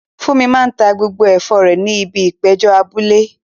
Funmi máa ta gbogbo ẹ̀fọ́ rẹ̀ ní ibi ìpéjọ abúlé.